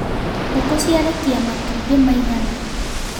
Ngũkũ ciarekia matumbĩ maigana.